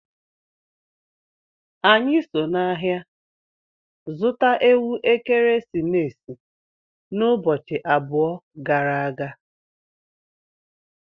Anyi so n'ahia zuta Ewu ekeresimesi n'ubochi about gara aga